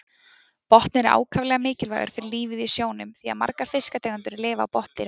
Botninn er ákaflega mikilvægur fyrir lífið í sjónum því að margar fiskategundir lifa á botndýrum.